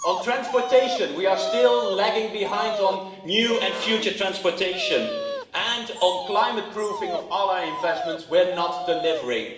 On transportation, we are still lagging behind on new and future transportation, and on climate proofing of our investments we're not delivering.